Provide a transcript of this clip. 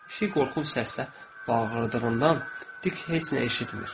Pişik qorxunc səslə bağırdığından Dik heç nə eşitmir.